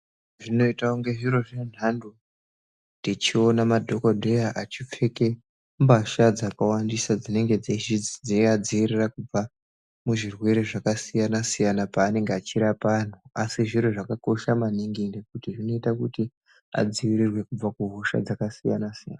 Zvinoita kunge zviro zvendando tichiona madhokodheya achipfeka mbatya dzakawandisa dzinenge dzeivadzivirira kuzvirwere zvakasiyana siyana pavanenge achirapa antu asi zviro zvakanaka maningi ngekuti zvinoita adzivirirwe kubva kuhosha dzakasiyana-siyana.